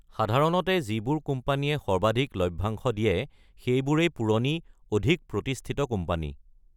সাধাৰণতে যিবোৰ কোম্পানীয়ে সৰ্বাধিক লভ্যাংশ দিয়ে সেইবোৰেই পুৰণি, অধিক প্ৰতিষ্ঠিত কোম্পানী।